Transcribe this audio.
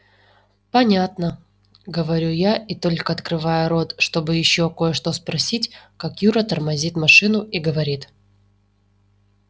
понятно говорю я и только открываю рот чтобы ещё кое-что спросить как юра тормозит машину и говорит